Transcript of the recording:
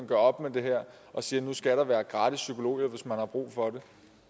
gør op med det her og siger at nu skal der være gratis psykologhjælp hvis man har brug for det